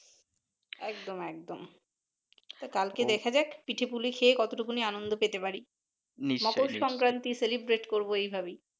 একদম একদম কালকে দেখা যাক পিঠে পুলি খেয়ে যতটা আনন্দ পেতে পারি মরলক সংক্রান্তি Celebrate করবো এইভাবেই